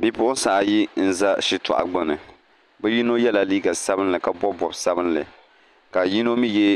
Bipuɣunsi ayi n ʒɛ shitoɣu gbuni bi yino yɛla liiga sabinli ka bob bob sabinli ka yino mii yɛ